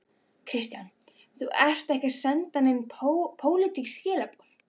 Kristján: Þú ert ekki að senda nein pólitísk skilaboð?